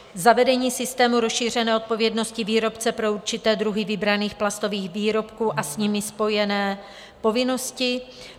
Zavedení systému rozšířené odpovědnosti výrobce pro určité druhy vybraných plastových výrobků a s nimi spojené povinnosti.